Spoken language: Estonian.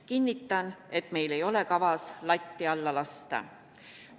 Kinnitan, et meil ei ole kavas latti alla lasta.